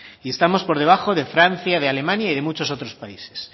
y estamos por debajo de francia de alemania y de otros muchos países